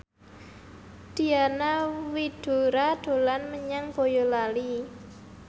Diana Widoera dolan menyang Boyolali